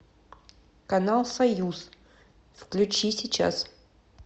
канал союз включи сейчас